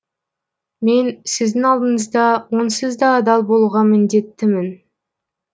мен сіздің алдыңызда онсыз да адал болуға міндеттімін